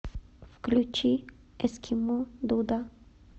включи эскимо дуда